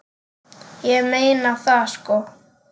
Ég meina það sko.